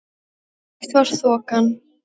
Eitt var þokan.